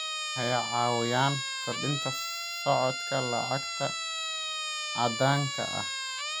Waxay caawiyaan kordhinta socodka lacagta caddaanka ah.